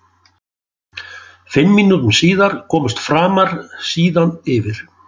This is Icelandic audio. Fimm mínútum síðar komust Framar síðan yfir.